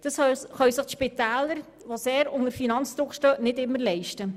Das können sich die Spitäler, die unter grossem finanziellem Druck stehen, nicht immer leisten.